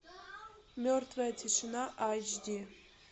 мертвая тишина айч ди